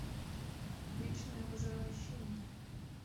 вечное возвращение